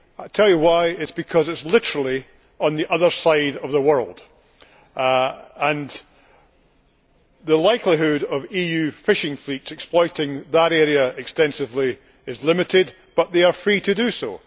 I will tell you it is because Papua New Guinea is literally on the other side of the world, and the likelihood of EU fishing fleets exploiting that area extensively is limited, although they are free to do so.